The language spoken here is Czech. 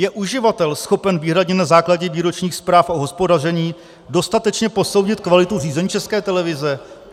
Je uživatel schopen výhradně na základě výročních zpráv o hospodaření dostatečně posoudit kvalitu řízení České televize?